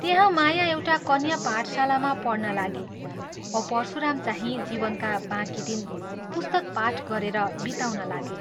त्यहाँ माया एउटा कन्या पाठशालामा पढ्नलागी औ परशुरामचाहिं जीवनका बाँकी दिन पुस्तक पाठ गरेर बिताउन लागे।